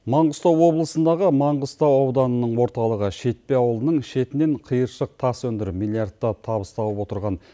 маңғыстау облысындағы маңғыстау ауданының орталығы шетпе ауылының шетінен қиыршық тас өндіріп миллиардтап табыс тауып отырған